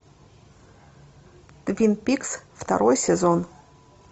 твин пикс второй сезон